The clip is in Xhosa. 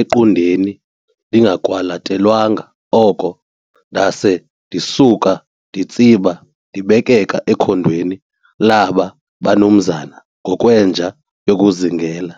equndeni ndingakwalathelwanga oko, ndaase ndisuka nditsiba ndibekeka ekhondweni laaba banumzana ngokwenja yokuzingela.